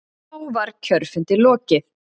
Þá var kjörfundi lokið.